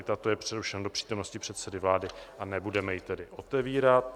I tato je přerušena do přítomnosti předsedy vlády, a nebudeme ji tedy otevírat.